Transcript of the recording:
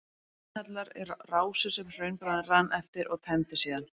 Hraunhellar eru rásir sem hraunbráðin rann eftir og tæmdust síðan.